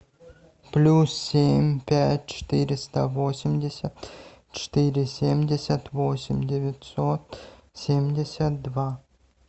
плюс семь пять четыреста восемьдесят четыре семьдесят восемь девятьсот семьдесят два